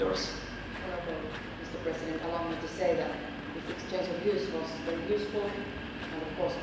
Mr President, allow me to say that this exchange of views was very useful and of course very timely.